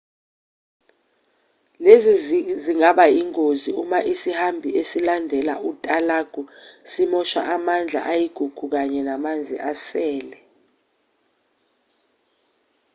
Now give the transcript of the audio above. lezi zingaba ingozi uma isihambi silandela utalagu simosha amandla ayigugu kanye namanzi asele